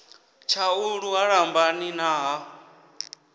tshaulu ha lambani na ha